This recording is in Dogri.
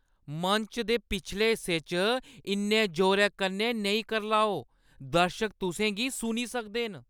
मंच दे पिछले हिस्से च इन्ने जोरै कन्नै नेईं करलाओ। दर्शक तुसें गी सुनी सकदे न।